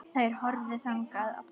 Þær horfðu þangað allar.